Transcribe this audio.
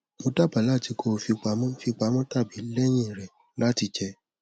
mo daba lati ko fipamọ fipamọ tabi lẹhin rẹ lati jẹ